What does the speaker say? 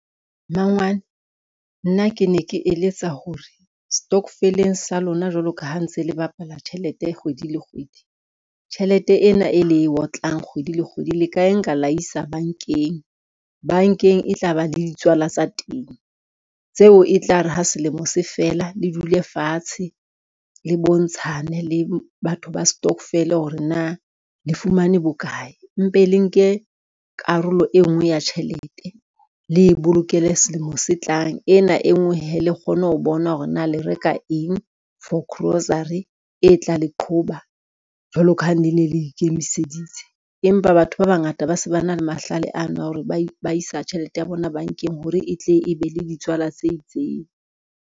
Mmangwane nna ke ne ke eletsa hore setokofeleng sa lona, jwalo ka ha ntse le bapala tjhelete kgwedi le kgwedi, tjhelete ena e le e otlang kgwedi le kgwedi, le ka e nka la isa bankeng. Bankeng e tla ba le ditswala tsa teng tseo e tlare ha selemo se fela, le dule fatshe le bontshane le batho ba stokvel hore na le fumane bokae, mpe le nke karolo e ngwe ya tjhelete le bolokele selemo se tlang. Ena e ngwe hee, le kgone ho bona hore na le reka eng for grocery e tla le qhoba jwalo ka ha ne ne le ikemiseditse, empa batho ba bangata ba se ba na le mahlale ano a hore ba isa tjhelete ya bona bankeng hore e tle e be le ditswala tse itseng.